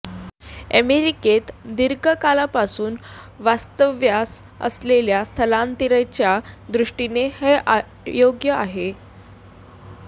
अमेरिकेत दीर्घकाळापासून वास्तव्यास असलेल्या स्थलांतरितांच्या दृष्टीने हे अयोग्य आहे